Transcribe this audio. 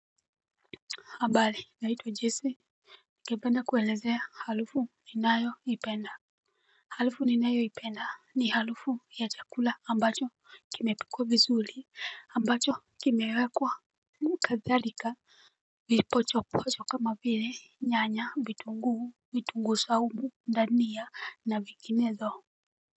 Habari, ninaitwa Jesi, ningependa kuwa elezea harufu ninayoipenda. Harufu ninayoipenda ni harufu ya chakula ambacho kimepikwa vii ambacho kimewekwa kadhalika. Vipocho pocho kama vile nyanya, vitunguu, vitunguu saumu, dania na vinginezo.